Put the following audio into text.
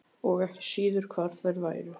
Og ekki síður hvar þær væru.